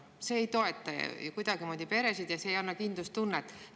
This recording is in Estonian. See ei toeta ju kuidagimoodi peresid ega ei anna kindlustunnet.